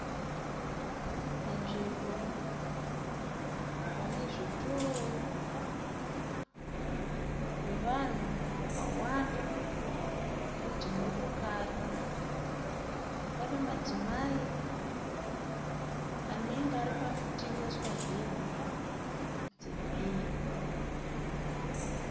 Panzvimbo pazvitoro nevanhu vakawanda nedzimotokari. Panemadzimai anenge ari parikutengeswa hembe dzebhero.